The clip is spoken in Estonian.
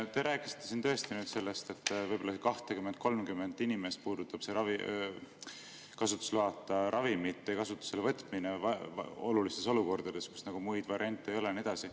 Te rääkisite siin sellest, et võib-olla 20–30 inimest puudutab see kasutusloata ravimite kasutusele võtmine olukordades, kus muid variante ei ole ja nii edasi.